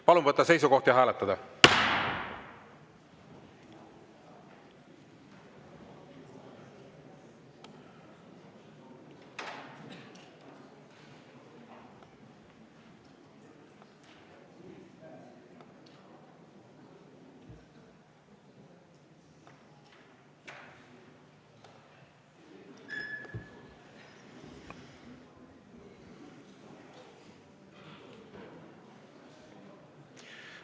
Palun võtta seisukoht ja hääletada!